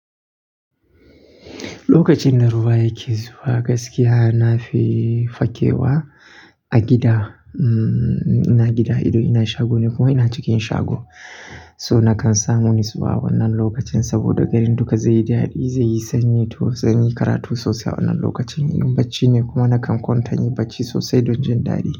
Lokacin rlda ruwa yake zuwa gaskiya nafi fakewa a gida. Ina gida idan, ina shago ne kuma ina cikin shago. So nakan samu nutsuwa wannan lokacin saboda garin duka zai yi dadi, zai yi sanyi to zan yi karatu sosai wannan lokacin. Inun barci ne kuma nakan kwantani barci sosai don jin dadi.